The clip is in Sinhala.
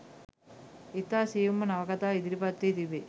ඉතා සියුම්ව නවකතාවේ ඉදිරිපත් වී තිබේ.